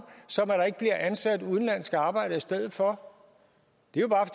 som at ansat udenlandske arbejdere i stedet for det